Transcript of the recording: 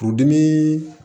Furudimi